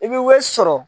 I bɛ wari sɔrɔ